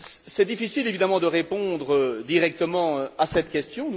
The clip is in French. C'est difficile évidemment de répondre directement à cette question.